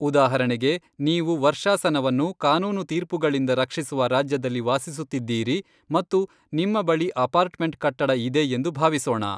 ಉದಾಹರಣೆಗೆ, ನೀವು ವರ್ಷಾಶನವನ್ನು ಕಾನೂನು ತೀರ್ಪುಗಳಿಂದ ರಕ್ಷಿಸುವ ರಾಜ್ಯದಲ್ಲಿ ವಾಸಿಸುತ್ತಿದ್ದೀರಿ ಮತ್ತು ನಿಮ್ಮ ಬಳಿ ಅಪಾರ್ಟ್ಮೆಂಟ್ ಕಟ್ಟಡ ಇದೆ ಎಂದು ಭಾವಿಸೋಣ.